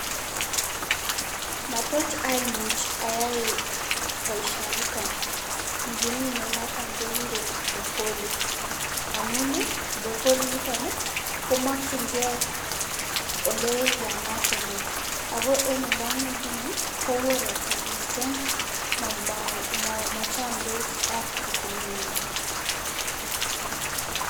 Matoch amuch ayai boisionito nekimine noto nekikuren brocolli amun brocolli] nitokni komakchinkei ole yaamat emet ako ale mi nguni koo ropta mising machamdos ak rutunengwai.